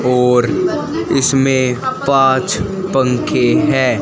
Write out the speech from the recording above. और इसमें पांच पंखे हैं।